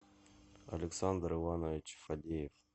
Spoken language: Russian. александр иванович фадеев